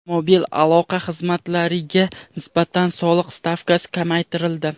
Mobil aloqa xizmatlariga nisbatan soliq stavkasi kamaytirildi.